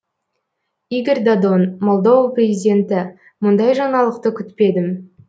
игорь додон молдова президенті мұндай жаңалықты күтпедім